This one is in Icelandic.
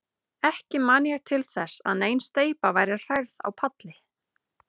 Ekki man ég til þess, að nein steypa væri hrærð á palli.